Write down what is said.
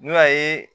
N'o y'a ye